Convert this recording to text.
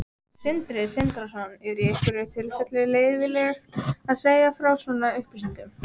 Sindri Sindrason: Er í einhverjum tilfellum leyfilegt að segja frá svona upplýsingum?